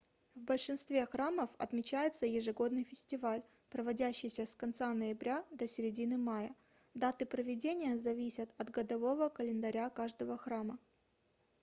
в большинстве храмов отмечается ежегодный фестиваль проводящийся с конца ноября до середины мая даты проведения зависят от годового календаря каждого храма